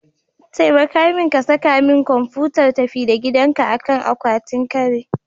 Taimaka min ka saka min kwamfutar tafi-da-gidanka akan akwatin kari.